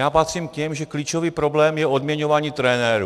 Já patřím k těm, že klíčový problém je odměňování trenérů.